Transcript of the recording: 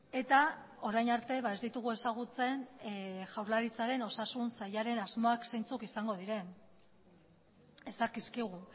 eta orain arte ez ditugu ezagutzen jaurlaritzaren osasun sailaren asmoak zeintzuk izango diren ez dakizkigu